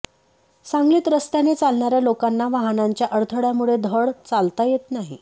सांगलीत रस्त्याने चालणाऱया लोकांना वाहनांच्या अडथळयामुळे धड चालता येत नाही